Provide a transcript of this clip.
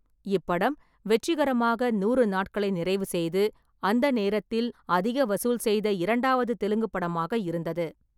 இப்படம் வெற்றிகரமாக நூறு நாட்களை நிறைவு செய்து, அந்த நேரத்தில் அதிக வசூல் செய்த இரண்டாவது தெலுங்கு படமாக இருந்தது.